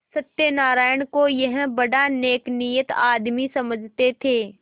सत्यनाराण को यह बड़ा नेकनीयत आदमी समझते थे